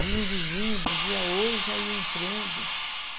Vinha o vizinho, dizia oi e já ia entrando.